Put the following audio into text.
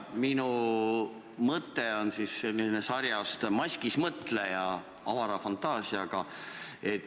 Minu mõte on sarjast "Maskis mõtleja" – avara fantaasiaga.